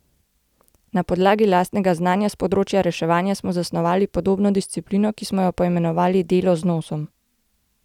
Na podlagi lastnega znanja s področja reševanja smo zasnovali podobno disciplino, ki smo jo poimenovali delo z nosom.